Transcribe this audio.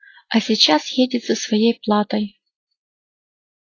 а сейчас едет за своей платой